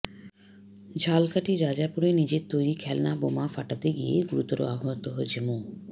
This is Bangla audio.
ঝালকাঠির রাজাপুরে নিজের তৈরি খেলনা বোমা ফাটাতে গিয়ে গুরুতর আহত হয়েছে মো